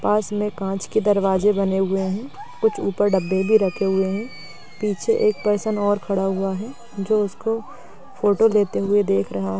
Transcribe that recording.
पास में कांच के दरवाजे बने हुए है। कुछ ऊपर डब्बे भी रखे हुए है। पीछे एक पर्सन और खड़ा हुआ है जो उसको फोटो देते हुए देख रहा है।